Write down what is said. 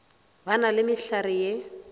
ba na le mehlare ye